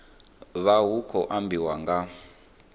vha hu khou ambiwa nga